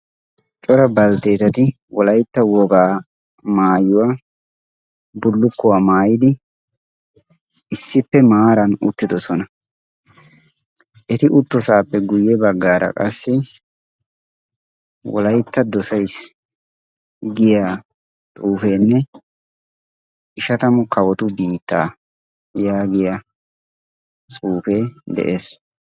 Cora baltteetati wolaytta wogaa maayuwaa bullukkuwaa maayidi issippe maaran uttidosona eti uttosaappe guyye baggaara qassi wolaytta dosays giya xuufeenne ishatamu kawotu biittaa yaagiya suufee de'ees.